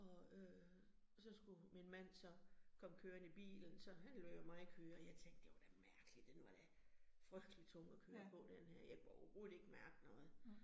Og øh så skulle min mand så komme kørende i bilen, så han ville lade mig køre jeg tænkte, det var da mærkeligt, den var da frygtelig tung at køre på den her, jeg kunne overhovedet ikke mærke noget